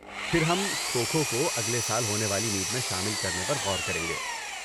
پھر ہم کھو کھو کو اگلے سال ہونے والی میٹ میں شامل کرنے پر غور کریں گے۔